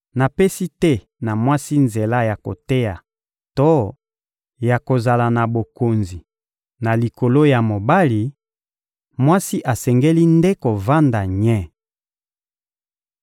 Napesi te na mwasi nzela ya koteya to ya kozala na bokonzi na likolo ya mobali; mwasi asengeli nde kovanda nye.